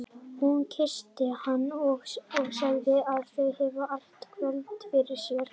Hún kyssti hann og sagði að þau hefðu allt kvöldið fyrir sér.